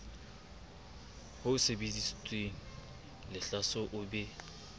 ho sebeditsweng lehlaso o be